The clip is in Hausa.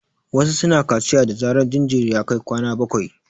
Wasu su na kaciya da zarar jinjiri ya kai kwana bakwai